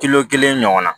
Kilo kelen ɲɔgɔn na